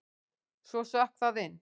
Svo sökk það inn.